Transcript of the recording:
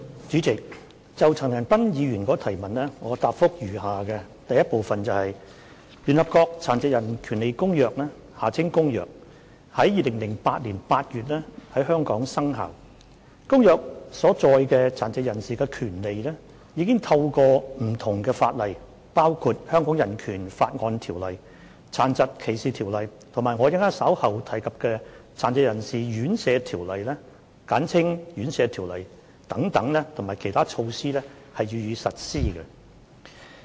主席，就陳恒鑌議員的質詢，我現答覆如下：一聯合國《殘疾人權利公約》自2008年8月於香港生效，《公約》所載殘疾人士的權利已透過不同的法例，包括《香港人權法案條例》、《殘疾歧視條例》及我稍後提及的《殘疾人士院舍條例》等，以及其他措施予以實施。